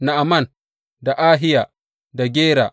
Na’aman, da Ahiya, da Gera.